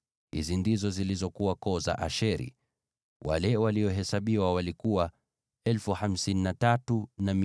Hizi ndizo zilizokuwa koo za Asheri; wale waliohesabiwa walikuwa 53,400.